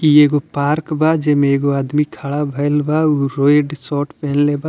ये एगो पार्क बा जेमे एगो आदमी खड़ा होयल बा रेड शर्ट पहनल बा --